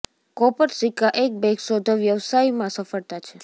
copper સિક્કા એક bag શોધો વ્યવસાયમાં સફળતા છે